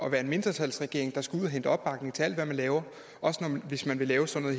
at være en mindretalsregering der skal ud at hente opbakning til alt hvad man laver også hvis man vil lave sådan